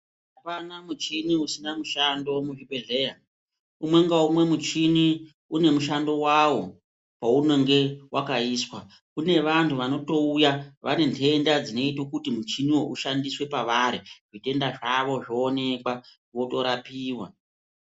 Apana muchini usina mushando muchibhedhleya umwe ngaumwe muchini une mushando wawo paunenge wakaiswa kune vantu vanotouya vane ntenda dzinoite kuti muchiniwo ushandiswe pavari zvitenda zvavo zvonekwa votorapiwa.